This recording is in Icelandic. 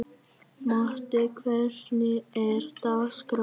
Maddý, hvernig er dagskráin?